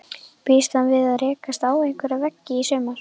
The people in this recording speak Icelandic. Býst hann við að rekast á einhverja veggi í sumar?